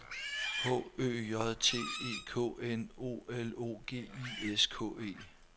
H Ø J T E K N O L O G I S K E